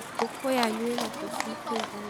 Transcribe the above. Ngũkũ yanyu ĩna tũcui tũigana?